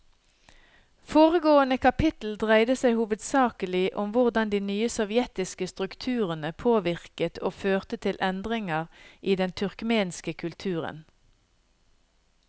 Foregående kapittel dreide seg hovedsakelig om hvordan de nye sovjetiske strukturene påvirket og førte til endringer i den turkmenske kulturen.